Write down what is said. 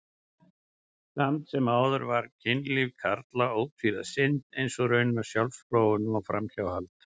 Samt sem áður var kynlíf karla ótvíræð synd, eins og raunar sjálfsfróun og framhjáhald.